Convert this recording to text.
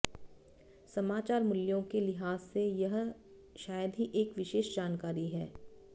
समाचार मूल्यों के लिहाज से यह यह शायद ही एक विशेष जानकारी है